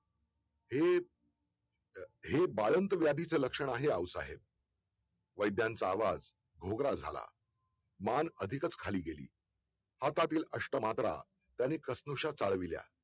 हे हे बाळंत व्याधीचं लक्षण आहे आऊसाहेब वैद्यांचा आवाज घोगरा झाला मान अधिकच खाली गेली हातातील अष्ट मात्रा त्याने क्षणोच्या चाळविल्या